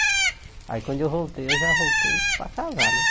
Aí quando eu voltei, eu já voltei para casar, né?